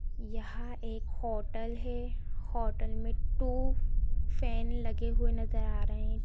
यहां एक हॉटल है हॉटल में टू फैन लगे हुए नज़र आ रहे हैं ।